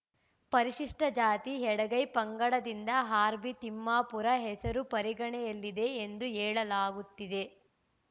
ಪರಿಶಿಷ್ಟಜಾತಿ ಎಡಗೈ ಪಂಗಡದಿಂದ ಆರ್‌ಬಿ ತಿಮ್ಮಾಪುರ ಹೆಸರು ಪರಿಗಣನೆಯಲ್ಲಿದೆ ಎಂದು ಹೇಳಲಾಗುತ್ತಿದೆ